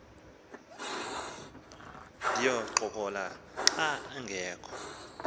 ndiyincokola xa angekhoyo